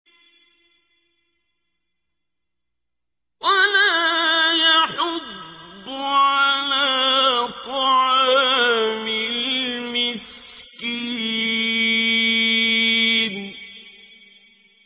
وَلَا يَحُضُّ عَلَىٰ طَعَامِ الْمِسْكِينِ